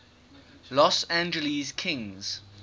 los angeles kings